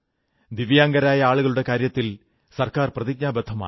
ദിവ്യാംഗരായ ആളുകളുടെ കാര്യത്തിൽ സർക്കാർ പ്രതിജ്ഞാബദ്ധമാണ്